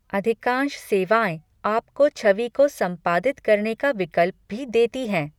अधिकांश सेवाएँ आपको छवि को संपादित करने का विकल्प भी देती हैं।